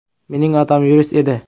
Mening otam yurist edi.